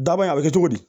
Daba in a bɛ kɛ cogo di